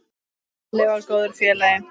Halli var góður félagi.